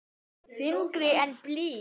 Þyngri en blý.